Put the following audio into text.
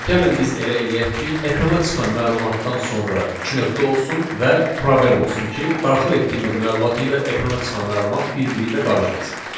Və gəlin biz elə eləyək ki, ekrana çıxan məlumatdan sonra iki nöqtə olsun və probel olsun ki, daxil etdiyimiz məlumat ilə ekrana çıxan məlumat bir-biri ilə qarışmasın.